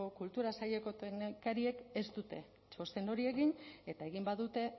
kultura saileko teknikariek ez dute txosten hori egin eta egin badute